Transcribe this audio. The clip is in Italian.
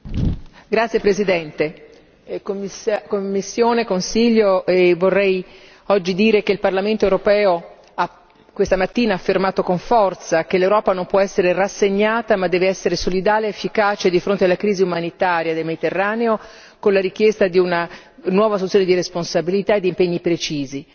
Signora Presidente, onorevoli colleghi, Commissione, Consiglio, vorrei dire che il Parlamento europeo questa mattina ha affermato con forza che l'Europa non può essere rassegnata, ma deve essere solidale ed efficace di fronte alla crisi umanitaria nel Mediterraneo, con la richiesta di una nuova assunzione di responsabilità e di impegni precisi.